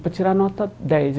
Para tirar nota dez aí.